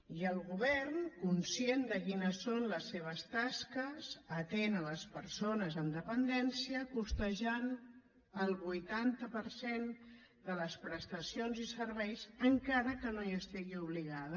i el govern conscient de quines són les seves tasques atén les persones amb dependència costejant el vuitanta per cent de les prestacions i serveis encara que no hi estigui obligada